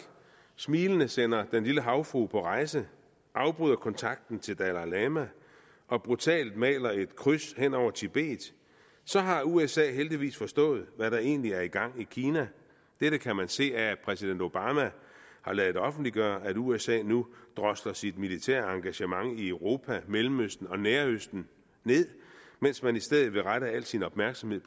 smilende sender den lille havfrue på rejse afbryder kontakten til dalai lama og brutalt maler et kryds hen over tibet så har usa heldigvis forstået hvad der egentlig er i gang i kina dette kan man se af at præsident obama har ladet offentliggøre at usa nu drosler sit militære engagement i europa mellemøsten og nærøsten ned mens man i stedet vil rette al sin opmærksomhed